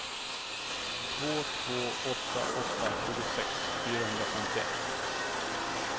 två två åtta åtta tjugosex fyrahundrafemtioett